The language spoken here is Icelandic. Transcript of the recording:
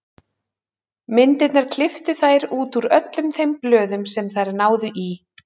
Myndirnar klipptu þær út úr öllum þeim blöðum sem þær náðu í.